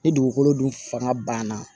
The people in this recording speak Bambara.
Ni dugukolo dun fanga banna